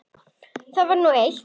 Það var nú eitt.